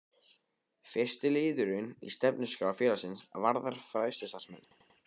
Fyrsti liðurinn í stefnuskrá félagsins varðar fræðslustarfsemi.